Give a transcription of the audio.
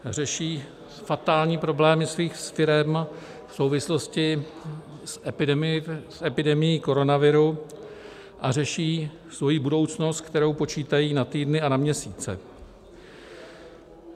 Řeší fatální problémy svých firem v souvislosti s epidemií koronaviru a řeší svoji budoucnost, kterou počítají na týdny a na měsíce.